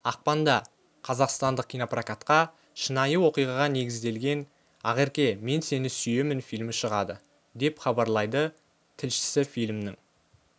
ақпанда қазақстандық кинопрокатқа шынайы оқиғаға негізделген ақерке мен сені сүйемін фильмі шығады деп хабарлайды тілшісі фильмнің